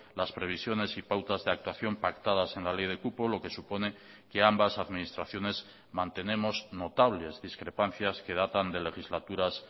las previsiones y pautas de actuación pactadas en la ley de cupo lo que supone que ambas administraciones mantenemos notables discrepancias que datan de legislaturas